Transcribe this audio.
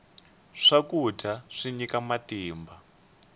swakudya swi nyika matimba